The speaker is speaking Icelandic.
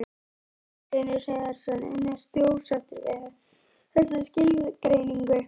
Magnús Hlynur Hreiðarsson: En ertu ósáttur við þessa skilgreiningu?